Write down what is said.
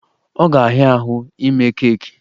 Ọ ga-ahịa ahụ ime keeki